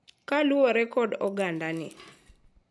Kaluwore kod ogandani,